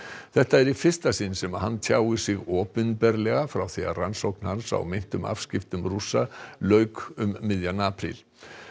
þetta er í fyrsta sinn sem hann tjáir sig opinberlega frá því rannsókn hans á meintum afskiptum Rússa lauk um miðjan apríl